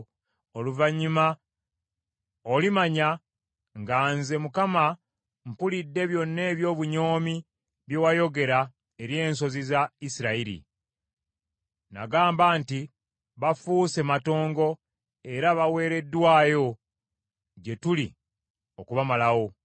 Oluvannyuma olimanya nga nze Mukama mpulidde byonna eby’obunyoomi bye wayogera eri ensozi za Isirayiri. Nagamba nti, “Bafuuse matongo, era baweereddwayo gye tuli okubamalawo.”